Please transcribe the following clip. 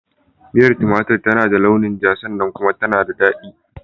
Miyar tumatur tana da launin ja sannan kuma tana da daɗi.